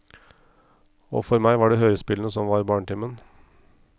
Og for meg var det hørespillene som var barnetimen.